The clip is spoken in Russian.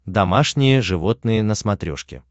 домашние животные на смотрешке